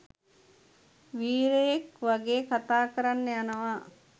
වීරයෙක් වගේ කතා කරන්න යනවා